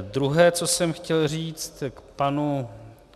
Druhé, co jsem chtěl říct k panu